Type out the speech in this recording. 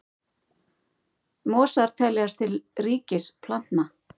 Mosar teljast til ríkis plantna.